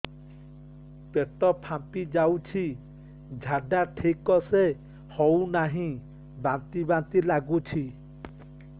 ପେଟ ଫାମ୍ପି ଯାଉଛି ଝାଡା ଠିକ ସେ ହଉନାହିଁ ବାନ୍ତି ବାନ୍ତି ଲଗୁଛି